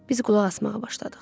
Biz qulaq asmağa başladıq.